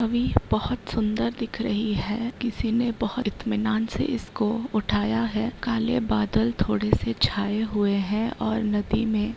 अभी बहोत सुंदर दिख रही है। किसी ने बहोत इतमिनान से इसको उठाया है। काले बादल थोड़े से छाये हुए है और नदी में --